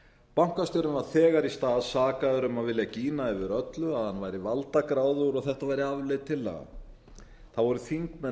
bankastjórinn var þegar í stað sakaður um að vilja gína yfir öllu að hann væri valdagráðugur og þetta væri afleit tillaga það voru þingmenn